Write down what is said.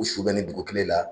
U su bɛ ni dugu kile la